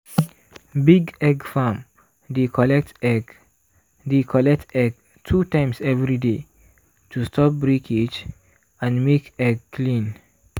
big egg farm dey collect egg dey collect egg two times every day to stop breakage and make egg clean.